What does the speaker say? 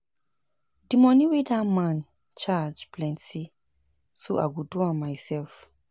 The money wey dat man charge plenty so I go do am myself